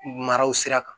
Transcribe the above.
Maraw sira kan